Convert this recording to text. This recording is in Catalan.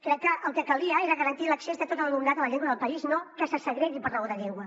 crec que el que calia era garantir l’accés de tot l’alumnat a la llengua del país no que se segregui per raó de llengua